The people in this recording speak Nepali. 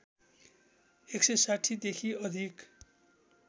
१६० देखि अधिक